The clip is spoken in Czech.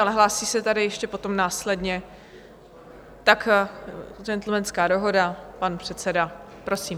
Ale hlásí se tady ještě potom následně - tak gentlemanská dohoda, pan předseda, prosím.